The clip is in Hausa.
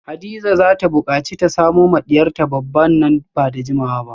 Hadiza zata bukaci ta samo ma diyarta babba nan bada jimawa ba